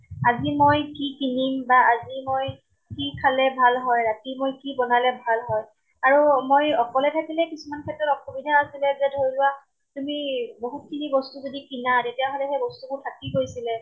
আজি মই কি কিনিম বা আজি মই কি খালে ভাল হয়, ৰাতি মই কি বনালে ভাল হয়। আৰু মই অকলে থাকিলে কিছুমান ক্ষেত্ৰত অসুবিধা আছিলে যে ধৰি লোৱা তুমি বহুত খিনি বস্তু যদি কিনা, তেতিয়া হলে সেই বস্তুবোৰ থাকি গৈছিলে